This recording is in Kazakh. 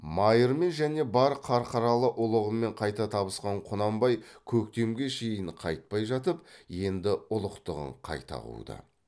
майырмен және бар қарқаралы ұлығымен қайта табысқан құнанбай көктемге шейін қайтпай жатып енді ұлықтығын қайта қуды